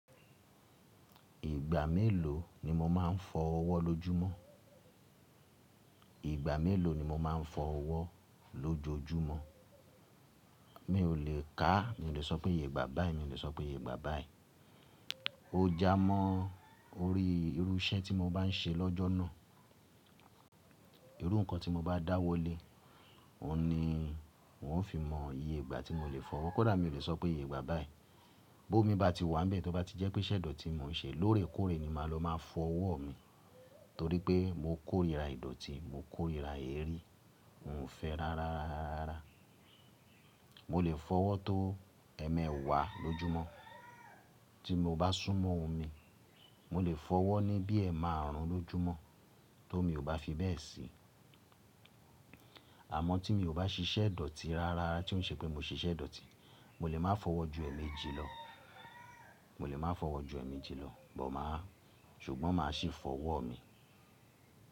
Ìgbà mélòó ni mo máa ń fọ ọwọ́ lójúmọ́? Ìgbà mélòó ni mo máa ń fọ ọwọ́ lójojúmọ́? Mi ò lè ká, mi ò lè sọ pé ìyègbà báyi, mi ò lè sọ pé ìyègbà báyi. Ó jámọ́ orí irú iṣẹ́ tí mo bá ń ṣe lọ́jọ́ náà. Irú nǹkan tí mo bá dá wọlé, òun ni wófi mọ ìyègbà tí mo lè fọwọ́. Kódà mi ò lè sọ pé ìyègbà báyi. Bó mi ba ti wà níbẹ̀, tó bá ti jẹ́ pé iṣẹ̀ idọ̀tí ni mò ń ṣe lóòrèkóòrè ni màá ló máa fọ ọwọ́ mi, torí pé mo kórìíra ìdọ̀tí, mo kórìíra eré. Miò fẹ́ ráráá. Mo lè fọ ọwọ́ tó ẹ̀ẹ̀mẹwa lójúmọ́, tí mo bá súnmọ́ omi. Mo lè fọ ọwọ́ ní bí ẹ̀ẹ̀marùn ún lójójúmọ́ ti omi ò bá fi bẹ́ẹ̀ sí. Àmọ́ tí mi ò bá ṣiṣẹ́ ìdọ̀tí ráráá, tí ó ń ṣe pé mo ṣiṣẹ́ ìdọ̀tí, mo lè máa fọ̀wọ́ ju ẹ̀ẹ̀meji lọ, mo lè máa fọ̀wọ́ ju ẹ̀ẹ̀meji lọ but máa, ṣùgbọ́n máa sì fọ ọwọ́ mi.